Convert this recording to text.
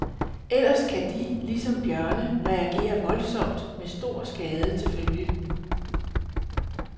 Ellers kan de, lige som bjørne, reagere voldsomt med stor skade til følge.